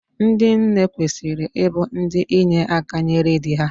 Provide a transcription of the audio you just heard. Ndị nne kwesịrị ịbụ ndị inye aka nyere dị ha.